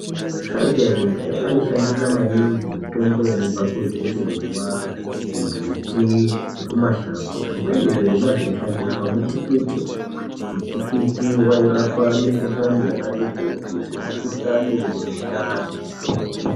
Asharuka ekudhaya aishandisa maningi mitombo yaibva kuzvirimwa, kumbuti nekumashango zvimweni zvirimwa zvaishandiswa mutikiti. Mitikiti yairapa mikuhlani yakati kuti semikuhlani vemundani.